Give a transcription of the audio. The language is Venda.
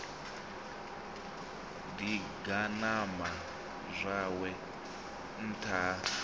ḓi ganama zwawe nṱtha ha